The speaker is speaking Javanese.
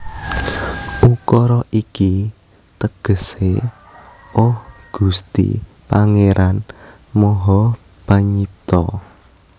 Ukara iki tegesé Oh Gusti Pangéran Maha Panyipta